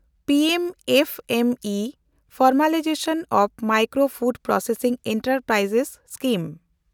P M F M E - formalisation of micro food processing enterprise scheme